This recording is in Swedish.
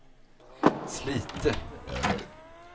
Slite